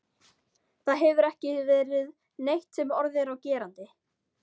Það hefur ekki verið neitt sem orð er á gerandi.